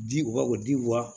Di wa o di wa